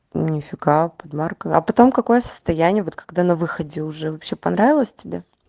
мификал под маркой а потом какое состояние вот когда на выходе уже вообще понравилось тебе